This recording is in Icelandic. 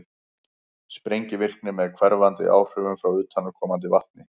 sprengivirkni með hverfandi áhrifum frá utanaðkomandi vatni